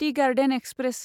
T garden express